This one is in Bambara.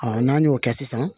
n'an y'o kɛ sisan